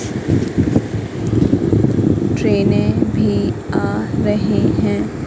Train में भी आ रहे है।